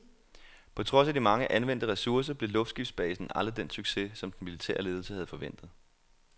På trods af de mange anvendte ressourcer, blev luftskibsbasen aldrig den succes, som den militære ledelse havde forventet.